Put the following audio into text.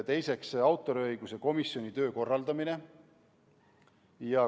Teiseks, autoriõiguse komisjoni töö korraldamine.